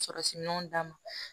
Sɔrɔsiminɛnw d'a ma